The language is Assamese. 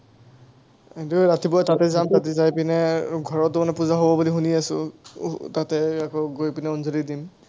এতিয়া ৰাতিপুৱা তাতে যাম, তাতে যাই কিনে ঘৰতো মানে পূজা হ’ব বুলি শুনি আছো, আহ তাতে ইয়াৰ পৰা গৈ কিনে অঞ্জলি দিম।